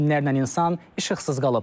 Minlərlə insan işıqsız qalıb.